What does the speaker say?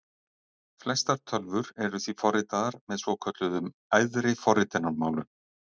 Flestar tölvur eru því forritaðar með svokölluðum æðri forritunarmálum.